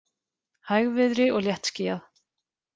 Hægviðri og léttskýjað